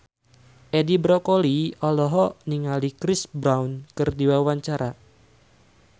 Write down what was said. Edi Brokoli olohok ningali Chris Brown keur diwawancara